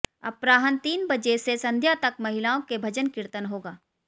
अपरान्ह तीन बजे से संध्या तक महिलाओं के भजन कीर्तन होगा